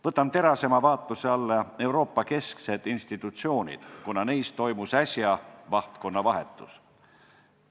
Võtan terasema vaatluse alla Euroopa kesksed institutsioonid, kuna neis toimus äsja vahtkonnavahetus.